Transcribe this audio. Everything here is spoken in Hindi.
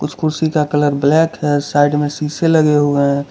कुछ कुर्सी का कलर ब्लैक है साइड में शीशे लगे हुए हैं।